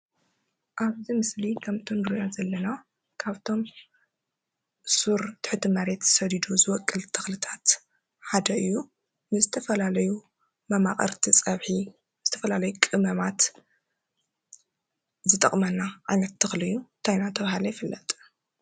ኣብዚ ምስሊ ከም እንሪኦ ዘለና ካብቶም ሱር ትሕቲ መሬት ሰዲዱ ዝቦቅል ተኽልታት ሓደ እዩ። ንዝተፈላለዩ መማቅርቲ ፀብሒ ፣ዝተፈላለዩ ቅመማት ዝጠቕመና ዓይነት ተኽሊ እዩ። እንታይ እናተብሃለ ይፍለጥ?